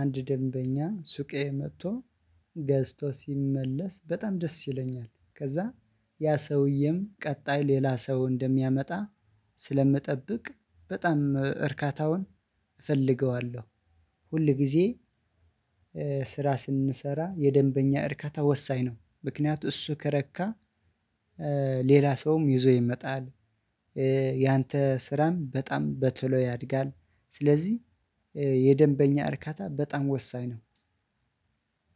አንድ ደንበኛ ሱቄ መጥቶ ገዝቶ ሲመለስ በጣም ደስ ይለኛል ከዛ ያ ሰውዬም ቀጣይ ሌላ ሰው እንደሚያመጣ ስለምጠብቅ በጣም እርካታውን እፈልገዋለሁ። ሁል ጊዜ ስራ ስንሰራ የደንበኛ እርካታ ወሳኝ ነው። ምክንያቱም እሱ ከረካ ሌላ ሰውም ይዞ ይመጣል። ያንተ ስራም በጣም በቶሎ ያድጋል። ስለዚህ የደንበኛ እርካታ በጣም ወሳኝ ነው።